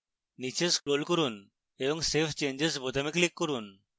নীচে scroll করুন এবং save changes বোতামে click করুন